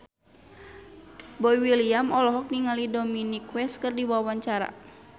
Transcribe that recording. Boy William olohok ningali Dominic West keur diwawancara